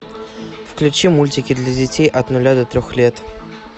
включи мультики для детей от нуля до трех лет